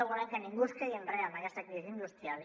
volem que ningú quedi enrere en aquesta crisi industrial